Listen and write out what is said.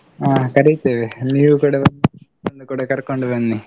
ಹ ಕರಿತೆವೆ ನೀವುಕೂಡ ಬನ್ನಿ ಕೂಡ ಕರ್ಕೊಂಡು ಬನ್ನಿ.